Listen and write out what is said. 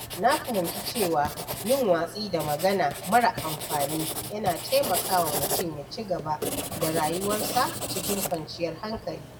Na fahimci cewa yin watsi da magana mara amfani yana taimakawa mutum ya ci gaba da rayuwarsa cikin kwanciyar hankali.